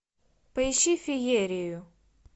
поищи феерию